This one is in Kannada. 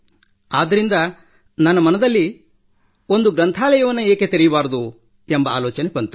ಆದ್ದರಿಂದ ನನ್ನ ಮನದಲ್ಲಿ ಒಂದು ಗ್ರಂಥಾಲಯವನ್ನು ಏಕೆ ಸ್ಥಾಪಿಸಬಾರದು ಎಂಬ ಆಲೋಚನೆ ಬಂತು